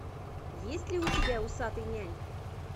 есть ли у тебя усатый нянь